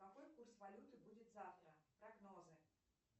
какой курс валюты будет завтра прогнозы